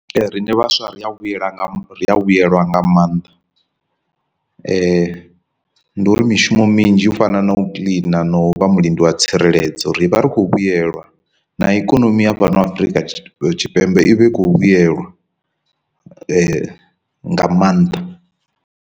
Rine vhaswa ri a vhuyela nga vhuyelwa nga maanḓa, ndi uri mishumo minzhi u fana na u kiḽina na u vha mulindi wa tsireledzo ri vha ri khou vhuyelwa na ikonomi ya fhano Afurika Tshipembe i vha i khou vhuyelwa nga maanḓa.